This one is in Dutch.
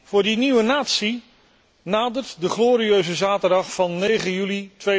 Voor die nieuwe natie nadert de glorieuze zaterdag van 9 juli